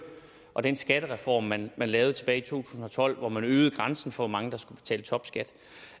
og af den skattereform man lavede tilbage i to tusind og tolv hvor man øgede grænsen for hvor mange der skal betale topskat